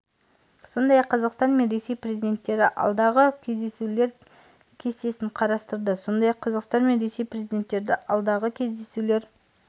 сондай-ақ қазақстан мен ресей президенттері алдағы кездесулер кестесін қарастырды сондай-ақ қазақстан мен ресей президенттері алдағы кездесулер